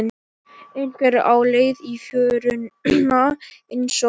Einhver á leið í fjöruna einsog hann.